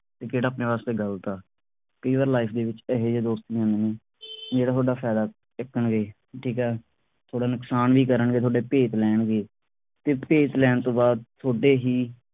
ਤੇ ਕਿਹੜਾ ਆਪਣੇ ਵਾਸਤੇ ਗਲਤ ਆ। ਕਈ ਵਾਰ life ਦੇ ਵਿਚ ਇਹੇ ਜੇ ਦੋਸਤ ਮਿਲਦੇ ਨੇ ਜਿਹੜਾ ਤੁਹਾਡਾ ਫਾਇਦਾ ਚੁਕਣਗੇ। ਠੀਕ ਆ ਤੁਹਾਡਾ ਨੁਕਸਾਨ ਵੀ ਕਰਨਗੇ, ਤੁਹਾਡੇ ਭੇਤ ਲੈਣਗੇ ਤੇ ਭੇਤ ਲੈਣ ਤੋਂ ਬਾਅਦ ਥੋਡੇ ਹੀ